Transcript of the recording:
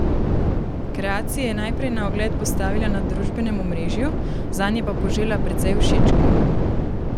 Kreacije je najprej na ogled postavila na družbenem omrežju, zanje pa požela precej všečkov.